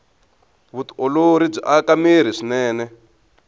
vutiolori byi aka mirhi swinene